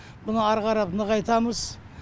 мұны ары қарап нығайтамыз